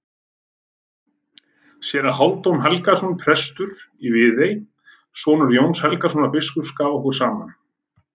Séra Hálfdan Helgason, prestur í Viðey, sonur Jóns Helgasonar biskups, gaf okkur saman.